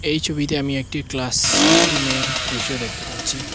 এই ছবিতে আমি একটি ক্লাসরুমের দৃশ্য দেখতে পাচ্ছি।